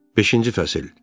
Beşinci fəsil.